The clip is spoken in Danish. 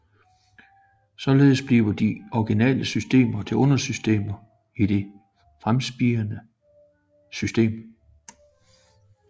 Således bliver de originale systemer til undersystemer i det fremspirende system